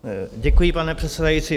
Děkuji, pane předsedající.